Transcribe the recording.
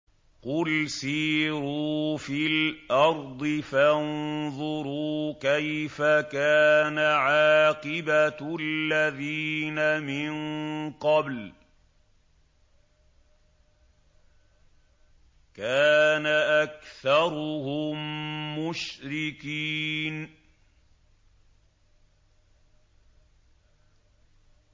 قُلْ سِيرُوا فِي الْأَرْضِ فَانظُرُوا كَيْفَ كَانَ عَاقِبَةُ الَّذِينَ مِن قَبْلُ ۚ كَانَ أَكْثَرُهُم مُّشْرِكِينَ